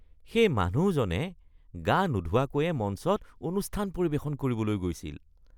সেই মানুহজনে গা নোধোৱাকৈয়ে মঞ্চত অনুষ্ঠান পৰিৱেশন কৰিবলৈ গৈছিল।